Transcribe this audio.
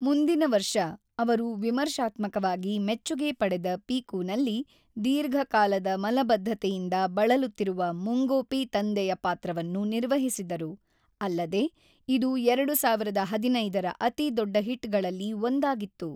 ಮುಂದಿನ ವರ್ಷ, ಅವರು ವಿಮರ್ಶಾತ್ಮಕವಾಗಿ ಮೆಚ್ಚುಗೆ ಪಡೆದ 'ಪಿಕು'ನಲ್ಲಿ ದೀರ್ಘಕಾಲದ ಮಲಬದ್ಧತೆಯಿಂದ ಬಳಲುತ್ತಿರುವ ಮುಂಗೋಪಿ ತಂದೆಯ ಪಾತ್ರವನ್ನು ನಿರ್ವಹಿಸಿದರು, ಅಲ್ಲದೆ ಇದು ೨೦೧೫ ರ ಅತಿದೊಡ್ಡ ಹಿಟ್‌ಗಳಲ್ಲಿ ಒಂದಾಗಿತ್ತು.